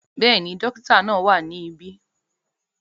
Bẹ́ẹ̀ni, dókítà náà wà ní ibí